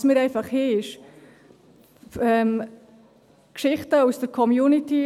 Was wir einfach haben, sind Geschichten aus der Community.